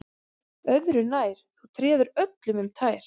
Öðru nær, þú treður öllum um tær